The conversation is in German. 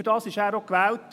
Dafür ist er auch gewählt.